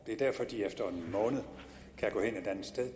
det er derfor at de efter en måned kan gå et andet sted